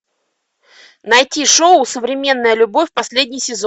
найти шоу современная любовь последний сезон